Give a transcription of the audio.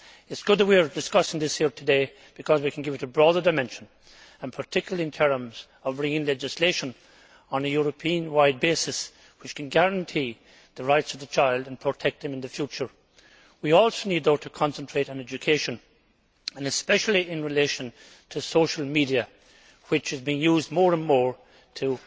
It is good that we are discussing this here today, because we can give it a broader dimension, particularly in terms of bringing legislation onto a European wide basis which can guarantee the rights of children and protect them in the future. We also need to concentrate on education, and especially in relation to social media which are being used more and more